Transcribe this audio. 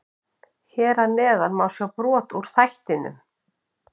Hér að neðan má sjá brot úr þættinum.